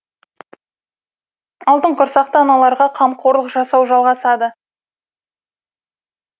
алтын құрсақты аналарға қамқорлық жасау жалғасады